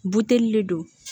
Buteli le don